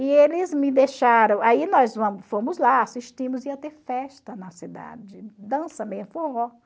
E eles me deixaram, aí nós fomos lá, assistimos, ia ter festa na cidade, dança, mesmo forró.